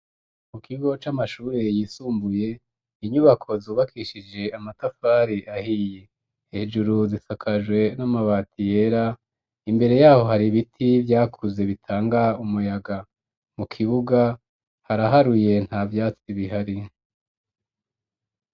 Mu kigo c'amashuri yisumbuye, inyubako zubakishije amatafari ahiye. Hejuru zisakajwe n'amabati yera, imbere ya ho hari ibiti vyakuze bitanga umuyaga. Mu kibuga haraharuye nta vyatsi bihari.